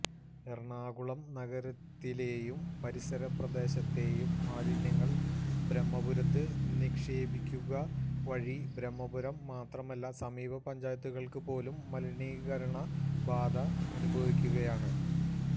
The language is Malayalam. എറണാകുളം നഗരത്തിലെയും പരിസര പ്രദേശത്തെയും മാലിന്യങ്ങള് ബ്രഹ്മപുരത്ത് നിക്ഷേപിക്കുകവഴി ബ്രഹ്മപുരം മാത്രമല്ല സമീപ പഞ്ചായത്തുകള്പോലും മലിനീകരണബാധ അനുഭവിക്കുകയാണ്